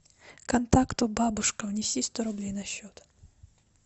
контакту бабушка внеси сто рублей на счет